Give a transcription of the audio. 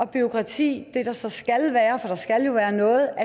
bureaukrati der så skal være for der skal jo være noget